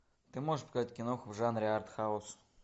ты можешь показать киноху в жанре артхаус